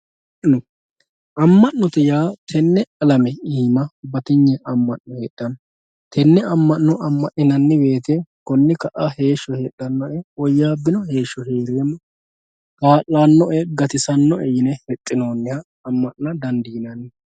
amma'note yaa tenne alame iima batinye amma'no heedhanno tenne amma'no amma'ninanni woyte konni ka'a heeshsho heedhanno woyyaabbino heeshsho heereemmo kaa'lannoe gatisannoe yine hexxinoonniha amma'na dandiinanni